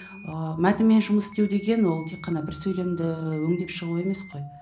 ыыы мәтінмен жұмыс істеу деген ол тек қана бір сөйлемді өңдеп шығу емес қой